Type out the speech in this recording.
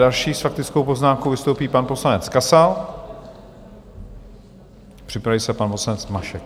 Další s faktickou poznámkou vystoupí pan poslanec Kasal, připraví se pan poslanec Mašek.